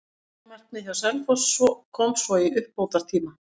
Jöfnunarmarkið hjá Selfoss kom svo í uppbótartíma.